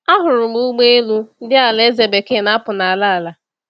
Ahụrụ m ụgbọ elu ndị Alaeze Bekee na-apụ n’ala ala.